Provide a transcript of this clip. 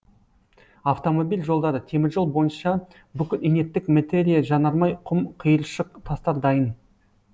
автомобиль жолдары теміржол бойынша бүкіл инерттік метериа жанармай құм қиыршық тастар дайын